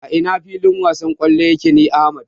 A ina filin wasan kwallo yake ne Ahmad?